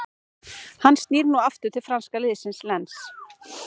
Hann snýr nú aftur til franska liðsins Lens.